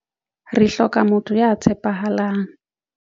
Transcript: Re hloka motho ya tshepahalang.